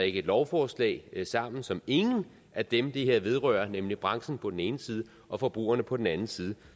et lovforslag sammen som ingen af dem det her vedrører nemlig branchen på den ene side og forbrugerne på den anden side